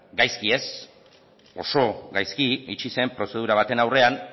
gaizki ez oso gaizki itxi zen prozedura baten aurrean